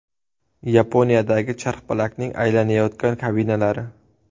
Yaponiyadagi charxpalakning aylanayotgan kabinalari.